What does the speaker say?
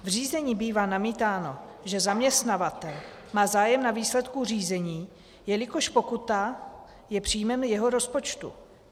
V řízení bývá namítáno, že zaměstnavatel má zájem na výsledku řízení, jelikož pokuta je příjmem jeho rozpočtu.